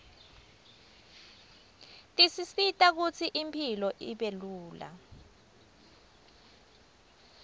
tisisita kutsi impilo ibelula